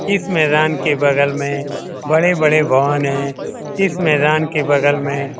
इसमें मैदान के बगल में बड़े-बड़े है इस मैदान के बगल में --